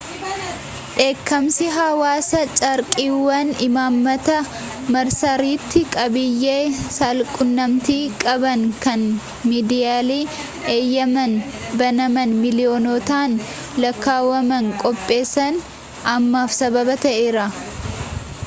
dheekkamsi hawaasaa carraaqqiiwwan imaammata marsariitii qabiyyee saalquunnamtii qabanii kan miidiyaalee eyyemaan banaman miiliyoonotaan lakkaawwaman qopheessan ammaaf sababa ta'eera